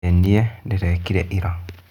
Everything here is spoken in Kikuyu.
ĩĩ niĩ ndĩrekire ira